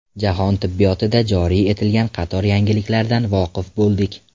Jahon tibbiyotida joriy etilgan qator yangiliklardan voqif bo‘ldik.